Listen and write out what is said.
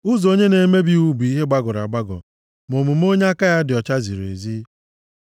Ụzọ onye na-emebi iwu bụ ihe gbagọrọ agbagọ, ma omume onye aka ya dị ọcha ziri ezi.